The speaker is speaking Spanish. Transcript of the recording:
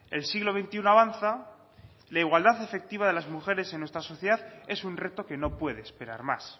el siglo veintiuno avanza la igualdad efectiva de las mujeres en nuestra sociedad es un reto que no puede esperar más